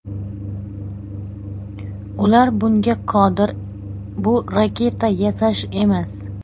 Ular bunga qodir, bu raketa yasash emas.